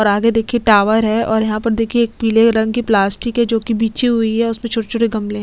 आगे देखिये टॉवर हैं और यहाँ पर देखिये एक पिले रंग की प्लास्टिक है जो की बिछी हुई है उसमें छोटे - छोटे गमले है।